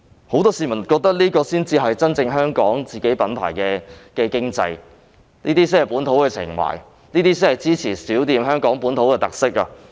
很多市民覺得這才是香港品牌的經濟，是本土情懷，是支持香港本土小店的特色。